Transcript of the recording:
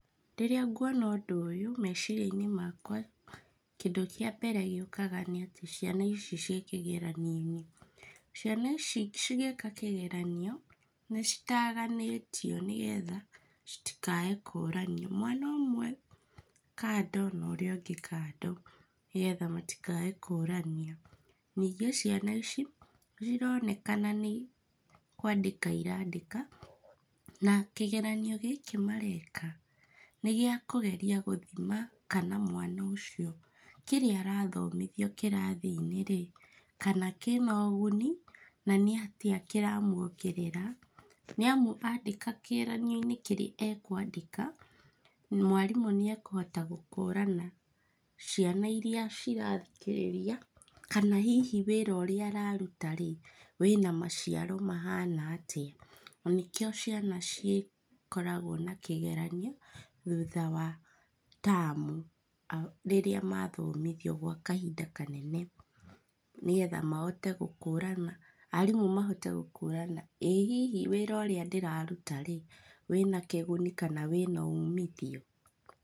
Rĩrĩa nguona ũndũ ũyũ, meciria-inĩ makwa, kĩndũ kĩa mbere gĩũkaga nĩ atĩ ciana ici ciĩ kĩgeranio-inĩ. Ciana ici cigĩka kĩgeranio, nĩ citaganĩtio nĩgetha, citikae kũranio. Mwana ũmwe kando na ũrĩa ũngĩ kando nĩgetha matikae kũrania. Ningĩ ciana ici, cironekana nĩ kwandĩka irandĩka, na kĩgeranio gĩkĩ mareka, nĩ gĩa kũgeria gũthima kana mwana ũcio kĩrĩa arathomithio kĩrathi-inĩ rĩ, kana kĩna ũguni, na nĩatĩa kĩramuongerera, nĩamu andĩka kĩgeranio-inĩ kĩrĩa ekũandĩka, mwarimũ nĩ ekũhota gũkũrana ciana irĩa cirathikĩrĩria kana hihi wĩra ũrĩa araruta rĩ wĩna maciaro mahana atĩa. Na nĩkĩo ciana cikoragwo na kĩgeranio, thutha wa tamu, rĩrĩa mathomithia gwa kahinda kanene nĩgetha, mahote gũkũrana. Arimũ mahote gũkũrana ĩĩ hihi wĩra ũrĩa ndĩraruta rĩ, wĩna kĩguni kana wĩna ũmithio?